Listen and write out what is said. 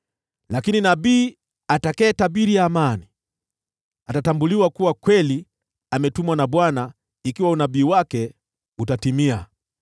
Lakini nabii atakayetabiri amani atatambuliwa kuwa kweli ametumwa na Bwana ikiwa unabii wake utatimia.”